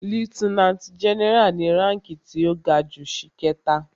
Lieutenant general ni ránki tí ó ga jù ṣìkẹta.